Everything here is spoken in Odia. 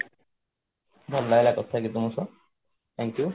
ଧନ୍ୟବାଦ thank you